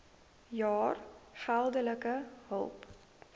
jaar geldelike hulp